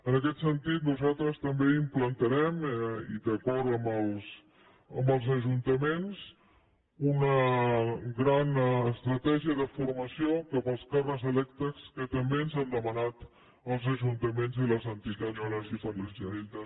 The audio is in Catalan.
en aquest sentit nosaltres també implantarem i d’acord amb els ajuntaments una gran estratègia de formació per als càrrecs electes que també ens han demanat els ajuntaments i les entitats municipalistes